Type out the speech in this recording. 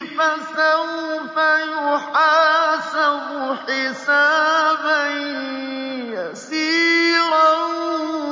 فَسَوْفَ يُحَاسَبُ حِسَابًا يَسِيرًا